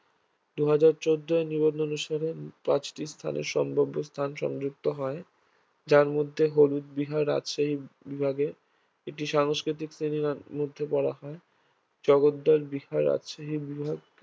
দুই হাজার চৌদ্দয় নিবন্ধন অনুসারে পাঁচটি স্থানের সম্ভাব্য স্থান সংযুক্ত হয় যার মধ্যে হলুদ বিহার রাজশাহী বিভাগের একটি সংস্কৃতি শ্রেণীর মধ্যে বলা হয় জগদ্দল বিহার রাজশাহী বিভাগ